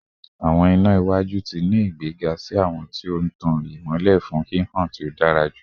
Awọn ina iwaju ti ni igbega si awọn ti o tan imọlẹ fun hihan to dara julọ